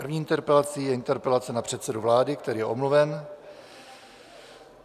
První interpelací je interpelace na předsedu vlády, který je omluven.